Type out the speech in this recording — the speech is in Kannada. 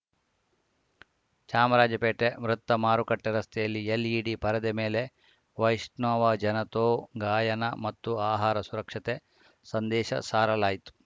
ಚಾಮರಾಜಪೇಟೆ ವೃತ್ತ ಮಾರುಕಟ್ಟೆರಸ್ತೆಯಲ್ಲಿ ಎಲ್‌ಇಡಿ ಪರದೆ ಮೇಲೆ ವೈಷ್ಣವಜನತೋ ಗಾಯನ ಮತ್ತು ಆಹಾರ ಸುರಕ್ಷತೆ ಸಂದೇಶ ಸಾರಲಾಯಿತು